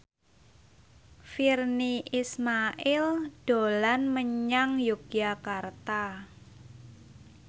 Virnie Ismail dolan menyang Yogyakarta